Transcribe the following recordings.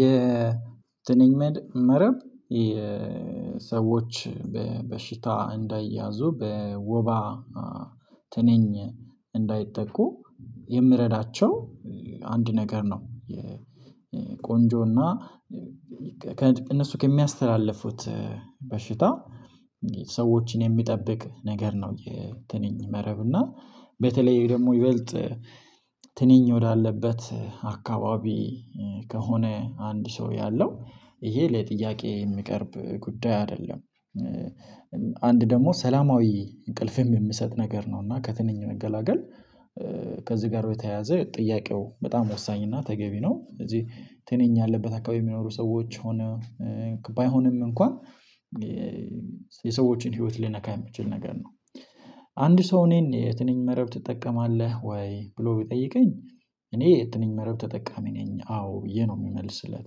የትንኝ መረብ የሰዎች በበሽታ እንዳይያዙ በወባ ትንኝ እንዳይጠቁ የሚረዳቸው አንድ ነገር ነው። ቆንጆና ከእነሱ ከሚያስተላልፉት በሽታ ሰዎችን የሚጠብቅ ነገር ነው የትንኝ መረብ እና በተለይ ደግሞ ይበልጥ። ትንኝ ወዳለበት አካባቢ ከሆነ አንድ ሰው ያለው ይሄ ለጥያቄ የሚቀርብ ጉዳይ አይደለም። አንድ ደግሞ ሰላማዊ እንቅልፍም የሚሰጥ ነገር ነው እና ከትንኝ መገላገል። ከዚህ ጋር በተያያዘ ጥያቄው በጣም ወሳኝ እና ተገቢ ነው። ስለዚህ ትንኝ ያለበት አካባቢ የሚኖሩ ሰዎች ሆነ ባይሆንም እንኳን የሰዎችን ህይወት ሊነካ የሚችል ነገር ነው። አንድ ሰው እኔን የትንኝ መረብ ትጠቀማለህ ወይ ብሎ ቢጠይቀኝ። እኔ የትኝኝ መረብ ተጠቃሚ ነኝ አዎ ብዬ ነው የምመልስለት።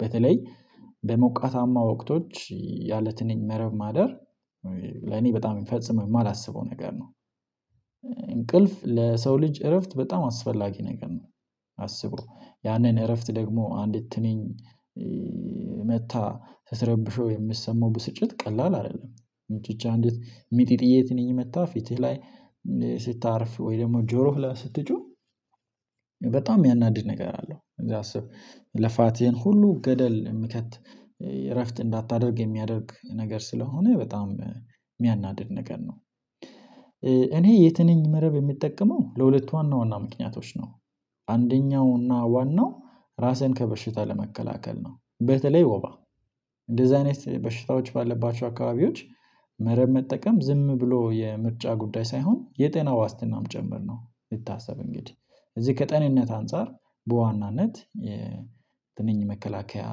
በተለይ በሞቃታማ ወቅቶች ያለትንኝ መረብ ማደር ለኔ በጣም ፈጽሞ የማላስበው ነገር ነው። እንቅልፍ ለሰው ልጅ እረፍት በጣም አስፈላጊ ነገር ነው። አስቡ ያንን እረፍት ደግሞ አንዲት ትንኝ መጥታ ስትረብሸው የሚሰማው ብስጭት ቀላል አይደለም። ብቻ አንዲት ሚጢጥዬ ትንኝ መጥታ ፊትህ ላይ ስታርፍ ወይ ደግሞ ጆሮህ ላይ ስትጮህ። በጣም የሚያናድድ ነገር አለው እንግዲህ አስብ ልፋትን ሁሉ ገደል የሚከት እረፍት እንዳታደርግ የሚያደርግ ነገር ስለሆነ በጣም የሚያናድድ ነገር ነው። እኔ የትንኝ መረብ የምጠቀመው ለሁለት ዋና ዋና ምክንያቶች ነው። አንደኛው እና ዋናው ራስህን ከበሽታ ለመከላከል ነው በተለይ ወባ እንደዚህ አይነት በሽታዎች ባለባቸው አካባቢዎች መረብ መጠቀም ዝም ብሎ የምርጫ ጉዳይ ሳይሆን የጤና ዋስትናም ጭምር ነው። ይታሰብ እንግዲህ እዚህ ከጤንነት አንፃር በዋናነት የትንኝ መከላከያ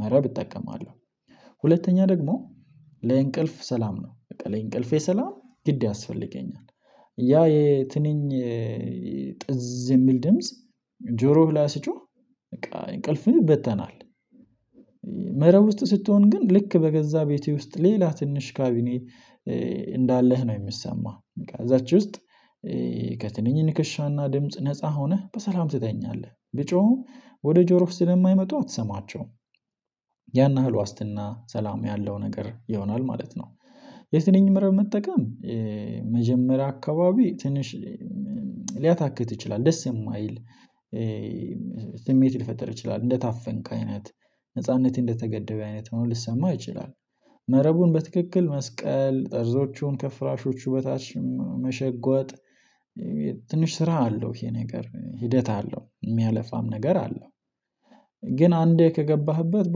መረብ እጠቀማለሁ። ሁለተኛ ደግሞ ለእንቅልፍ ሰላም ነው በቃ ለእንቅልፌ ሰላም ግድ ያስፈልገኛል። ያ የትንኝ ጥዝ የሚል ድምጽ ጆሮህ ላይ ስጮህ በቃ እንቅልፍህን ይበተናል። መረብ ውስጥ ስትሆን ግን ልክ በገዛ ቤቴ ውስጥ ሌላ ትንሽ ካቢኔ እንዳለህ ነው የሚሰማህ። እዛች ውስጥ ከትንኝ ንከሻና ድምጽ ነፃ ሆነህ በሰላም ትተኛለህ ቢጮህም ወደ ጆሮ ስለማይመጡ አትሰማቸውም። ያን ያህል ዋስትና ሰላም ያለው ነገር ይሆናል ማለት ነው። የትንኝ መረብ መጠቀም መጀመሪያ አካባቢ ትንሽ ሊያታክት ይችላል ደስ የማይል ስሜት ሊፈጥር ይችላል እንደታፈንክ አይነት ነጻነት እንደተገደበ አይነት ሆኖ ሊሰማህ ይችላል። መረቡን በትክክል መስቀል ጠርዞቹን ከፍራሾቹ በታች መሸጎጥ ትንሽ ስራ አለው ይሄ ነገር ሂደት አለው የሚያለፋም ነገር አለው። ግን አንዴ ከገባህበት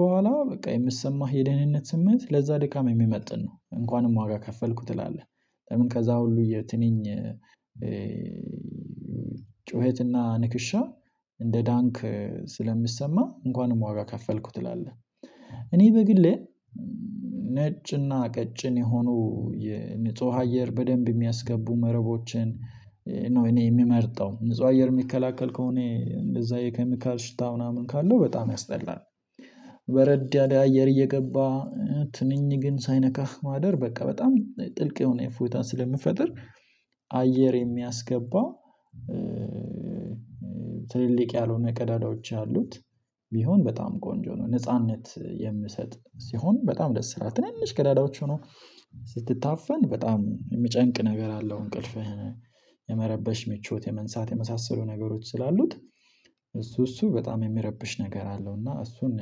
በኋላ በቃ የምሰማህ የደህንነት ስሜት ለዛ ድካም የሚመጥን ነው። እንኳንም ዋጋ ከፈልኩ ትላለህ ከዛ ሁሉ የትንኝ ጩኸትና ንክሻ እንደ ዳንክ ስለምሰማ እንኳንም ዋጋ ከፈልኩት ትላለህ። እኔ በግሌ ነጭና ቀጭን የሆኑ የንጹህ አየር በደንብ የሚያስገቡ መረቦችን እኔ የሚመርጠው ንጹህ አየር የሚከላከል ከሆነ እንደዛ የኬሚካል ሽታ ምናምን ካለው በጣም ያስጠላል። በረድ አየር እየገባ ትንኝ ግን ሳይነካህ ማደር በቃ በጣም ጥልቅ የሆነ እፎይታን ስለሚፈጥር አየር የሚያስገባ ትልልቅ ያልሆነ ቀዳዳዎች አሉት። ቢሆን በጣም ቆንጆ ነው ነጻነት የምሰጥ ሲሆን በጣም ደስ ይላል ትንንሽ ቀዳዳዎች ሆኖ ስትታፈን በጣም የሚጨንቅ ነገር አለው። እንቅልፍህን የመረበሽ ምቾት የመንሳት የመሳሰሉ ነገሮች ስላሉት እሱ እሱ በጣም የሚረብሽ ነገር አለው እና እሱን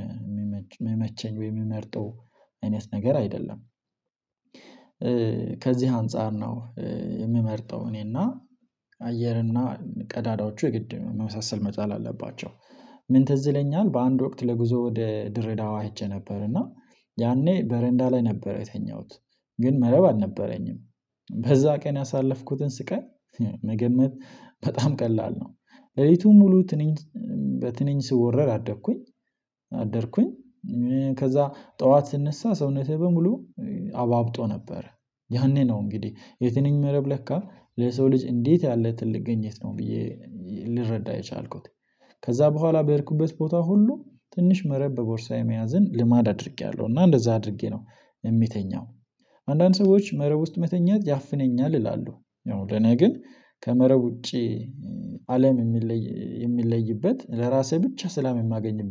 የሚመቸኝ ወይ የሚመርጠው አይነት ነገር አይደለም። ከዚህ አንፃር ነው የምመርጠው እኔና አየርና ቀዳዳዎቹ የግድ መመሳሰል መቻል አለባቸው። ምን ትዝለኛል በአንድ ወቅት ለጉዞ ወደ ድሬዳዋ ሄጄ ነበርና። ያኔ በረንዳ ላይ ነበር የተኛሁት ግን መረብ አልነበረኝም። በዛ ቀን ያሳለፍኩትን ስቃይ መገመት በጣም ቀላል ነው። ለሌቱን ሙሉ ትንኝ በትንኝ ስወረር አደኩኝ። አደርኩኝ ከዛ ጠዋት ስነሳ ሰውነቴ በሙሉ አባብጦ ነበረ። ያኔ ነው እንግዲህ የትንኝ መረብ ለካ ለሰው ልጅ እንዴት ያለ ትልቅ ግኝት ነው ብዬ ልረዳ የቻልኩት። ከዛ በኋላ በሄድኩበት ቦታ ሁሉ ትንሽ መረብ በቦርሳዬ መያዝን ልማድ አድርጌያለሁ እና እንደዛ አድርጌ ነው የምተኛው። አንዳንድ ሰዎች መረብ ውስጥ መተኛት ያፍነኛል ይላሉ። ያው ለኔ ግን ከመረብ ውጪ አለም የሚለይ የሚለይበት ለራሴ ብቻ ሰላም የማገኝበት